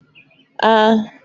A